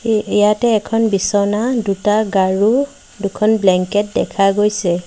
এই ইয়াতে এখন বিছনা দুটা গাৰো দুখন ব্লেংকেট দেখা গৈছে।